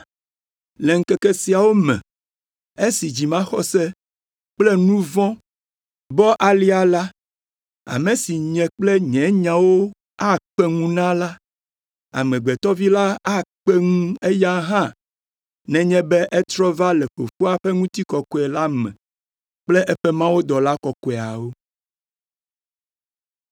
Le ŋkeke siawo me, esi dzimaxɔse kple nu vɔ̃ bɔ alea la, ame si nye kple nye nyawo akpe ŋu na la, Amegbetɔ Vi la akpe ŋu eya hã nenye be etrɔ va le Fofoa ƒe ŋutikɔkɔe la me kple eƒe mawudɔla kɔkɔeawo.”